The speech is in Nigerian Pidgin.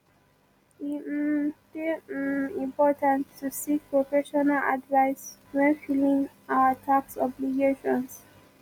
e um dey um important to seek professional advice when filing our tax obligations